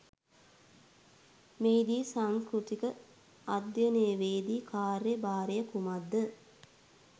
මෙහි දී සංස්කෘතික අධ්‍යයනවේදී කාර්ය භාරය කුමක්ද